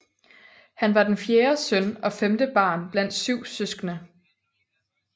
Han var den fjerde søn og femte barn blandt syv søskende